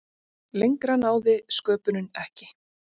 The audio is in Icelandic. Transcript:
Lengra náði sköpunin ekki.